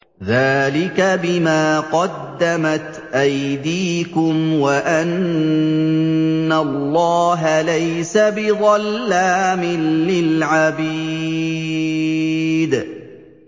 ذَٰلِكَ بِمَا قَدَّمَتْ أَيْدِيكُمْ وَأَنَّ اللَّهَ لَيْسَ بِظَلَّامٍ لِّلْعَبِيدِ